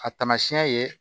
A taamasiyɛn ye